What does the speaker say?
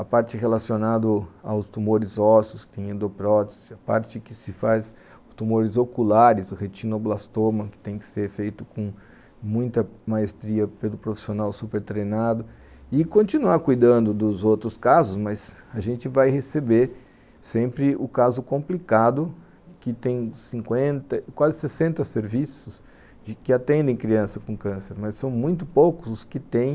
a parte relacionada aos tumores ósseos, que tem endoprótese, a parte que se faz com tumores oculares, o retinoblastoma, que tem que ser feito com muita maestria pelo profissional super treinado e continuar cuidando dos outros casos, mas a gente vai receber sempre o caso complicado que tem cinquenta, quase sessenta serviços que atendem criança com câncer, mas são muito poucos os que têm